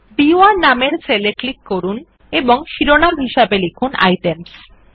B one নামের cell এ click করুন এবং শিরোনাম হিসাবে লিখুন আইটেমস